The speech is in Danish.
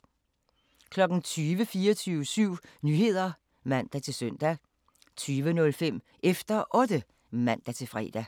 20:00: 24syv Nyheder (man-søn) 20:05: Efter Otte (man-fre)